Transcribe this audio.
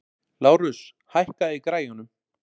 Lárus, hækkaðu í græjunum.